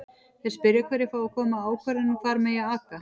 Þeir spyrja hverjir fái að koma að ákvörðun um hvar megi aka?